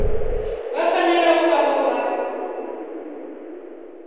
vha fanela u vha vho